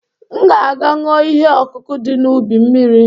M ga-aga ṅụọ ihe ọkụkụ dị n’ubi m mmiri